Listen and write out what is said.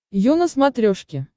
ю на смотрешке